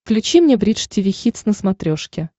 включи мне бридж тиви хитс на смотрешке